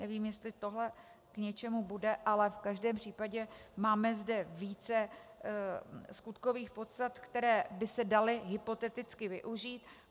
Nevím, jestli tohle k něčemu bude, ale v každém případě máme zde více skutkových podstat, které by se daly hypoteticky využít.